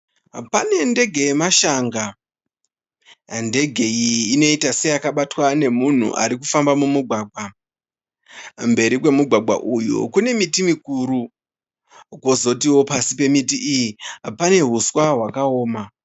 Pane ndege yamashanga. Ndege iyi inoita seyakabatwa nemunhu ari kufamba mumugwagwa. Mberi kwomugwagwa uyu kune miti mikuru, kwozotiwo pasi pemiti iyi pane uswa hwakaoma.